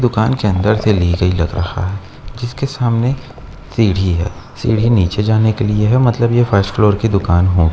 दुकान के अंदर से ली गयी लग रहा है जिसके सामने सीढ़ी है। सीढ़ी नीचे जाने के लिए है मतलब ये फर्स्ट फ्लोर की दुकान है।